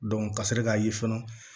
ka sɔrɔ k'a ye fɔlɔ